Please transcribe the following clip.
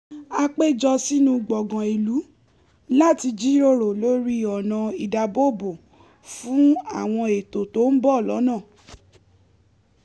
à pé jọ sínú gbọ̀ngàn ìlú láti jíròrò lórí ọnà ìdáàbòbo fún àwọn ètò tó ń bọ̀ lọ́nà